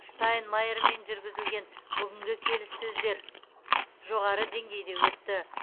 штайнмайермен жүргізілген бүгінгі келіссөздер жоғары деңгейде өтті